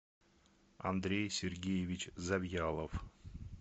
андрей сергеевич завьялов